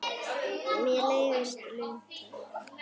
Mér leiðast luntar.